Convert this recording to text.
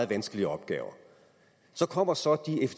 vanskelige opgaver så kommer så